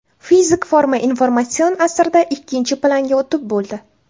Fizik forma informatsion asrda ikkinchi planga o‘tib bo‘ldi.